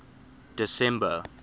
december